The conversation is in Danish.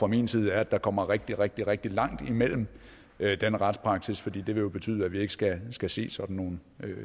min side er at der kommer rigtig rigtig rigtig langt imellem den retspraksis for det vil jo betyde at vi ikke skal skal se sådan nogle